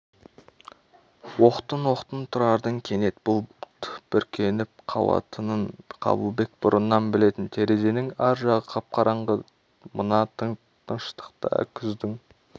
оқтын-оқтын тұрардың кенет бұлт бүркеніп қалатынын қабылбек бұрыннан білетін терезенің ар жағы қап-қараңғы мына тыныштықта күздің